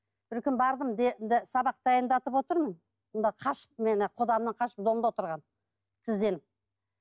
бір күні бардым сабақ дайындатып отырмын мұнда қашып мен құдамнан қашып домда отырғанмын сізден